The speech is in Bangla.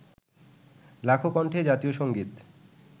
লাখো কন্ঠে জাতীয় সংগীত